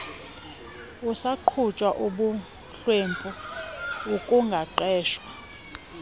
kusagquba ubuhlwempu ukungaqeshwa